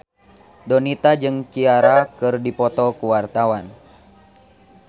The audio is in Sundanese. Donita jeung Ciara keur dipoto ku wartawan